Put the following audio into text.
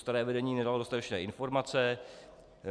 Staré vedení nedalo dostatečné informace.